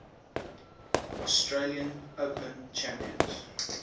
australian open champions